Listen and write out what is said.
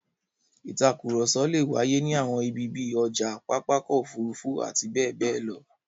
Ìtakùrọ̀sọ le wáyé ní àwọn ibi bí i ọjà, pápá ọkọ̀-òfurufú àti bẹ́ẹ̀ bẹ́ẹ̀ lọ.